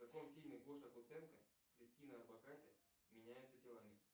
в каком фильме гоша куценко кристина орбакайте меняются телами